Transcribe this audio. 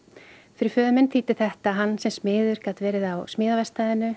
fyrir föður minn þýddi þetta að hann sem smiður gat verið á smíðaverkstæðinu